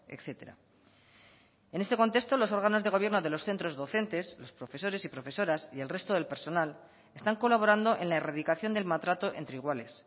etcétera en este contexto los órganos de gobierno de los centros docentes los profesores y profesoras y el resto del personal están colaborando en la erradicación del maltrato entre iguales